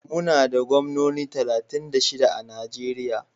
Muna da gwamnoni talatin da shida a Najeriya.